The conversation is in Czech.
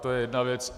To je jedna věc.